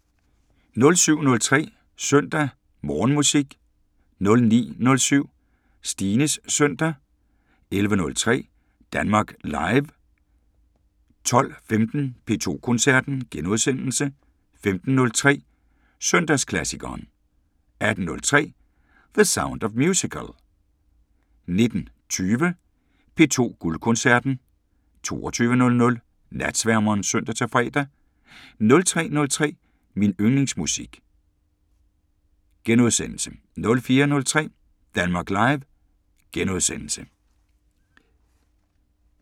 07:03: Søndag Morgenmusik 09:07: Stines søndag 11:03: Danmark Live 12:15: P2 Koncerten * 15:03: Søndagsklassikeren 18:03: The Sound of Musical 19:20: P2 Guldkoncerten 22:00: Natsværmeren (søn-fre) 03:03: Min yndlingsmusik * 04:03: Danmark Live *